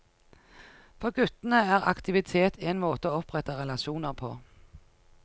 For guttene er aktivitet en måte å opprette relasjoner på.